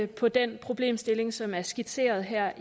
på den problemstilling som er skitseret her